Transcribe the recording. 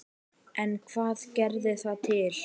En hvað gerði það til?